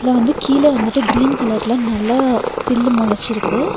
இதுல வந்து கீழ வந்துட்டு கிரீன் கலர்ல நல்ல பில்லு மொளச்சுருக்கு.